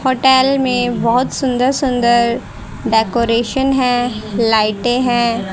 Hotel में बहोत सुंदर सुंदर डेकोरेशन है लाइटें हैं।